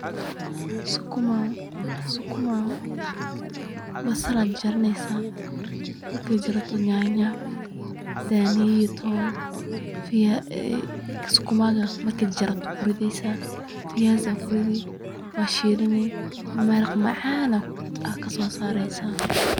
sukuma sukuma basal ayaay jarjaranaysaa. Marka aad jarato nyanya, daaniyo iyo toon sukumaaga marka aad jarjarato ku ridaysa, viazi ayaa ku ridi, waa shiilini. Maraq macaan ayaad ka soo saaraysaa.